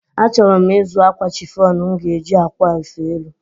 Achọrọ m ịzụ akwa chịfọn m ga-eji a kwa efe elu.